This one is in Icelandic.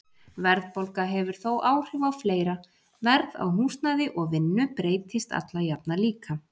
Verðbólga hefur þó áhrif á fleira, verð á húsnæði og vinnu breytist alla jafna líka.